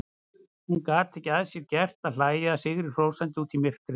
Hún gat ekki að sér gert að hlæja sigrihrósandi út í myrkrið.